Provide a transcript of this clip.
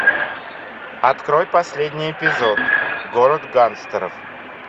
открой последний эпизод город гангстеров